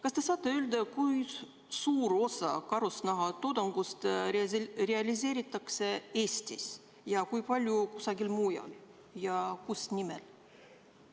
Kas te saate öelda, kui suur osa karusnahatoodangust realiseeritakse Eestis ja kui palju kusagil mujal ning kus nimelt?